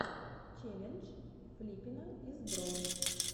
челлендж флиппина из бро